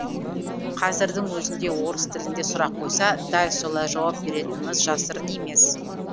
қазірдің өзінде орыс тілінде сұрақ қойса дәл солай жауап беретініміз жасырын емес